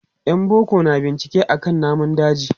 Yan boko na bincike akan namun daji.